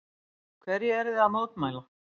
Hverju eruð þið að mótmæla?